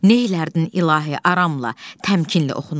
"Neylərdin, İlahi" aramla, təmkinli oxunur.